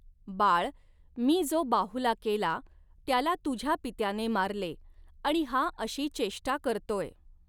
बाळ, मी जो बाहुला केला, त्याला तुझ्या पित्याने मारले आणि हा अशी चेष्टा करतोय.